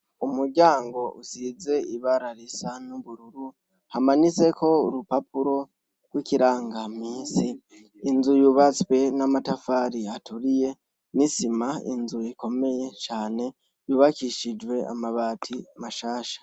Umuryang' usiz' ibara risa n' ubururu hamanitsek' urupapuro rw' ikirangaminsi, inzu yubatswe n'amatafar' aturiye, n' isima, n' inzugi zikomeye cane yubakishijw' amabati mashasha.